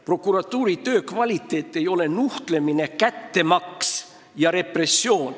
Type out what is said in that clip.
Prokuratuuri töö ei ole nuhtlemine, kättemaks ega repressioon.